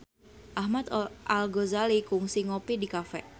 Ahmad Al-Ghazali kungsi ngopi di cafe